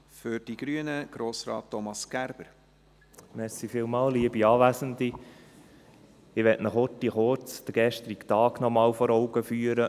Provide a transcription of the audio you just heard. Ich möchte Ihnen kurz den gestrigen Tag nochmals vor Augen führen.